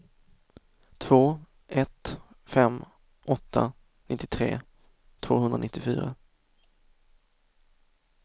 två ett fem åtta nittiotre tvåhundranittiofyra